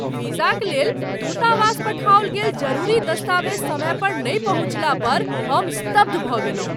वीजाक लेल दूतावास पठाओल गेल जरूरी दस्तावेज समय पर नहि पहुँचला पर हम स्तब्ध भऽ गेलहुँ।